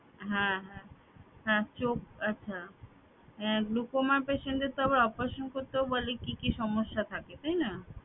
হ্যাঁ হ্যাঁ হ্যাঁ চোখ আচ্ছা হ্যাঁ glaucoma patient দের তো আবার operation করতেও বলে কি কি সমস্যা থাকে তাই না